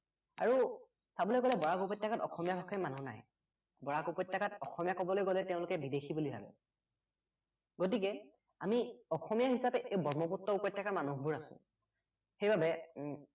আৰু চাবলৈ গলে বৰাক উপত্য়কাত অসমীয়া ভাষাৰ মানুহ নাই বৰাক উপত্য়কাত অসমীয়া কবলৈ গলে তেওঁলোকে বিদেশী বুলি ভাৱে গতিকে আমি অসমীয়া হিচাপে এই ব্ৰক্ষ্মপুত্ৰ উপত্য়কাৰ মানুহবোৰ আছো সেইবাবে